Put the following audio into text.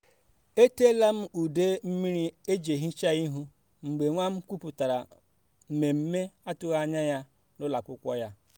a kwụsịrị usoro ahụ n’ike n’ihi na nne m bịara na akpọtụrụ m tupu ya bịa